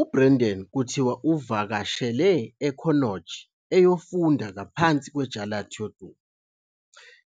UBrendan kuthiwa uvakashele eConnacht eyofunda ngaphansi kweJarlath yodumo.